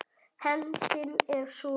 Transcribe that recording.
Hefndin er súr.